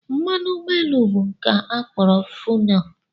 Mmanụ ụgbọelu bụ nke a kpọrọ fenọl